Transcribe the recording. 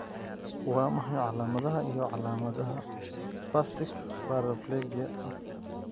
Waa maxay calaamadaha iyo calaamadaha spastic paraplegia 2?